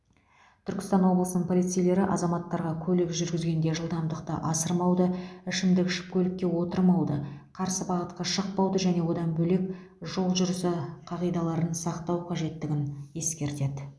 түркістан облысының полицейлері азаматтарға көлік жүргізгенде жылдамдықты асырмауды ішімдік ішіп көлікке отырмауды қарсы бағытқа шықпауды және одан бөлек жол жүрісі қағидаларын сақтау қажеттігін ескертеді